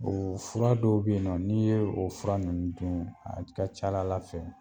Oo fura dɔw be yen nɔ n'i ye o fura nunnu dun a ka c'a la Ala fɛ